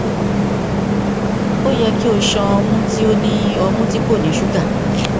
o yẹ ki o ṣan ọmu ti o ni ọmu ti ko ni suga